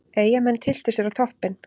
Eyjamenn tylltu sér á toppinn